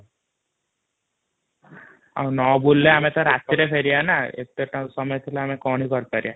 ନବୁଲିଲେ ଆମେତ ରାତିରେ ଫହଏରିବା ନା |